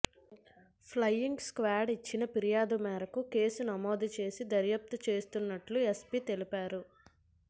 flying squad ఇచ్చిన ఫిర్యాదు మేరకు కేసు నమోదు చేసి దర్యాప్తు చేస్తున్నట్లు ఎస్సై తెలిపారు